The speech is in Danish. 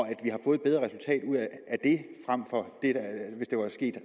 at det frem for hvis det var sket